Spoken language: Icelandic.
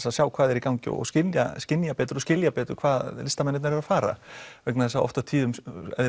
að sjá hvað er í gangi og skynja skynja betur og skilja betur hvað listamennirnir eru að fara vegna þess að oft á tíðum